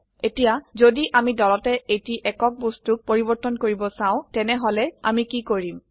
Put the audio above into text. এতিয়া যদি আমি দলতে এটি একক বস্তুোক পৰিবৰ্তন কৰিব চাও তেনেহলে আমি কি কৰিম160